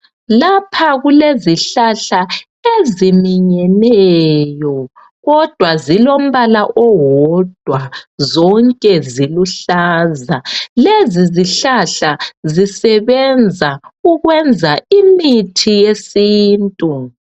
Lapha kulezihlahla eziminyeneyo kodwa zonke zilombala owodwa , zonke ziluhlaza , lezi zihlahla zisebenza ukwenza imithi yesintu